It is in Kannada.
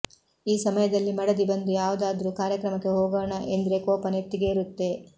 ಈ ಸಮಯದಲ್ಲಿ ಮಡದಿ ಬಂದು ಯಾವುದಾದ್ರೂ ಕಾರ್ಯಕ್ರಮಕ್ಕೆ ಹೋಗೋಣ ಎಂದ್ರೆ ಕೋಪ ನೆತ್ತಿಗೇರುತ್ತೆ